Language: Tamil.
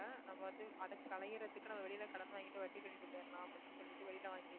நம்ம வந்து அதுக்கலையறதுக்கு நம்ம வெளியில கடன் வாங்கிட்டு வட்டி கட்டிட்டு போயிடலாம் அப்படின்னு சொல்லிட்டு வெளியில வாங்கிட்டு